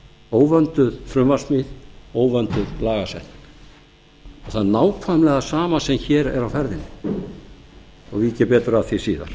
óvönduð frumvarpssmíð óvönduð lagasetning það er nákvæmlega sama sem hér er á ferðinni og vík ég betur að því síðar